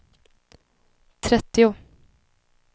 trettio